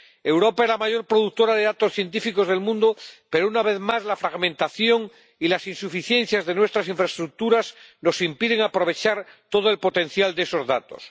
Europa es la mayor productora de datos científicos del mundo, pero, una vez más, la fragmentación y las insuficiencias de nuestras infraestructuras nos impiden aprovechar todo el potencial de esos datos.